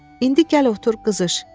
İndi gəl otur qızış,